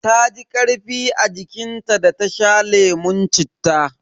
Taji karfi a jikin ta da ta sha lemun cittan.